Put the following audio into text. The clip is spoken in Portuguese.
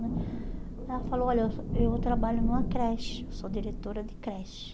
Ela falou, olha, eu eu trabalho numa creche, sou diretora de creche.